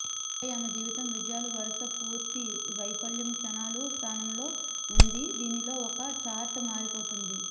ఆపై ఆమె జీవితం విజయాలు వరుస పూర్తి వైఫల్యం క్షణాలు స్థానంలో ఉంది దీనిలో ఒక చార్ట్ మారిపోతుంది